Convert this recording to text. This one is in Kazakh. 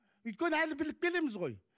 өйткені әлі біліп келеміз ғой